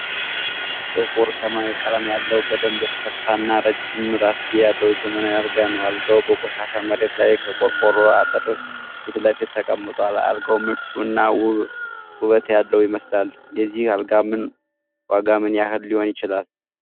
ጥቁር ሰማያዊ ቀለም ያለው፣ በደንብ የተሰፋ እና ረጅም ራስጌ ያለው ዘመናዊ አልጋ ነው። አልጋው በቆሻሻ መሬት ላይ፣ ከቆርቆሮ አጥር ፊት ለፊት ተቀምጧል። አልጋው ምቹ እና ውበት ያለው ይመስላል። የዚህ አልጋ ዋጋ ምን ያህል ሊሆን ይችላል?